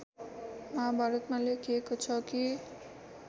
महाभारतमा लेखिएको छ कि